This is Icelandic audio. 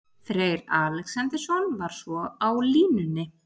Freyr Alexandersson var svo á línunni.